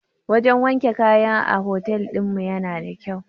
Wajan wanke kaya a hotel ɗinmu yana da kyau